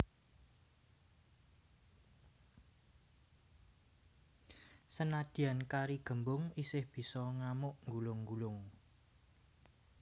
Senadyan kari gembung isih bisa ngamuk nggulung nggulung